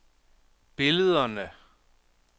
billederne